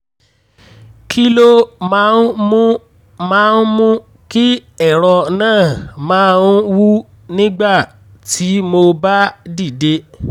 kí ló máa ń mú máa ń mú kí ẹ̀rọ náà máa ń wú nígbà tí mo bá dìde?